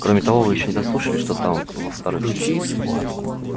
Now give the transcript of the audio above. кроме того вы ещё не дослушали что там во-вторых